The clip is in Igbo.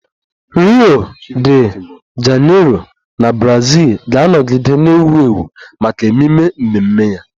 Rio De Janeiro na Brazil ga-anọgide na-ewu ewu maka ememe mmemme ya